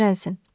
Qoy öyrənsin.